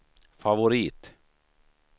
favorit